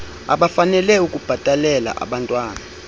abafanele ukubhatalela abantwan